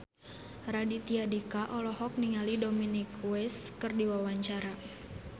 Raditya Dika olohok ningali Dominic West keur diwawancara